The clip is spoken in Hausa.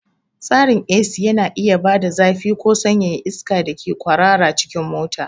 Tsarin AC yana iya bada zafi ko sanyaya iska da ke kwarara cikin mota.